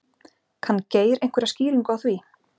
Kann Geir einhverja skýringu á því?